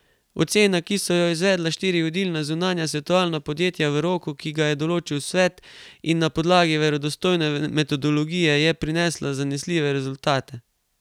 Ocena, ki so jo izvedla štiri vodilna zunanja svetovalna podjetja v roku, ki ga je določil Svet, in na podlagi verodostojne metodologije, je prinesla zanesljive rezultate.